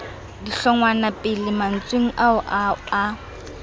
dihlongwapele mantsweng ao o a